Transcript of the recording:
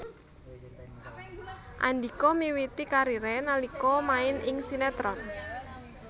Andhika miwiti kariré nalika main ing sinétron